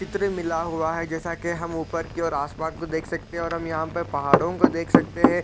कितने मिला हुआ है जैसा कि हम ऊपर की ओर आसमान को देख सकते है और हम यहाँ पे पहाड़ॊ को देख सकते हैं ।